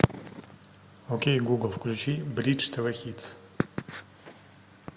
окей гугл включи бридж тв хитс